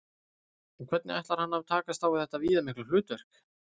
En hvernig ætlar hann að takast á við þetta viðamikla hlutverk?